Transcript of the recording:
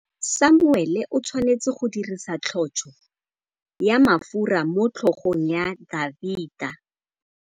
Samuele o tshwanetse go dirisa tlotsô ya mafura motlhôgong ya Dafita.